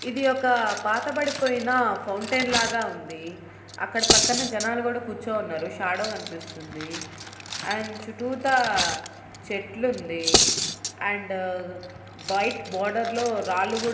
ఇది ఒక పాతబడిపోయిన ఫౌంటెన్ లాగా ఉంది. అక్కడ పక్కన జనాలు కూడా కూర్చుని ఉన్నారు. షాడో కనిపిస్తుంది. అండ్ చుట్టూతా చెట్లుంది. అండ్ వైట్ బార్డర్ లో రాళ్లు కూ --